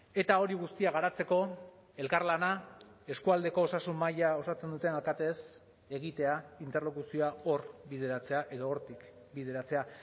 eta hori guztia garatzeko elkarlana eskualdeko osasun maila osatzen dutena katez egitea interlokuzioa hor bideratzea edo hortik bideratzea